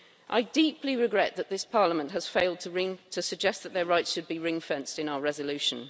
I deeply regret that this Parliament has failed to suggest that their rights should be ring fenced in our resolution.